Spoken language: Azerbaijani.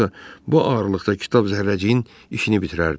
Yoxsa bu ağırlıqda kitab zərrəciyin işini bitirərdi.